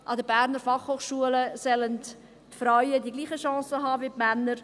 An der BFH sollen die Frauen dieselben Chancen haben wie die Männer.